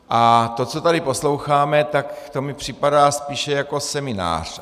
A to, co tady posloucháme, tak to mi připadá spíše jako seminář.